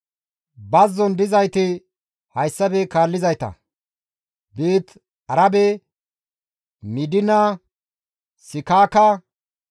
Bazzon dizayti hayssafe kaallizayta; Beeti-Arabe, Midiina, Sikaaka,